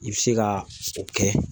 I bɛ se ka o kɛ